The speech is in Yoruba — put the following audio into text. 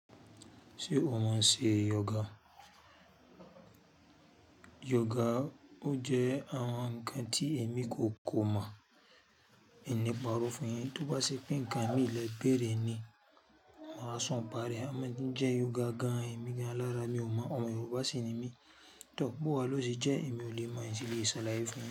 Ṣé o mọ̀ sí yoga? Yoga ó jẹ́ àwọn ǹkan tí èmi kò mọ̀, n ni paro fún yin. Tóbá ṣe pé nǹkan mí lè bèèrè ni, mo ra sọ́n bá rẹ̀. A máa ń jẹ yoga gan-an, èmi gan-an lára mi ò mọ̀. Ọmọ Yorùbá sì ni mí. Tọ́ bowa ló ṣe jẹ́ èmi ò lè mọ̀ insì le ṣalaye fún yin.